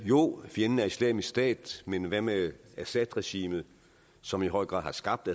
jo fjenden er islamisk stat men hvad med assadregimet som i høj grad har skabt